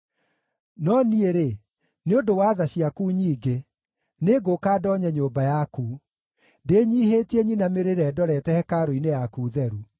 No niĩ-rĩ, nĩ ũndũ wa tha ciaku nyingĩ, nĩngũũka ndoonye nyũmba yaku; ndĩnyiihĩtie nyinamĩrĩre ndorete hekarũ-inĩ yaku theru.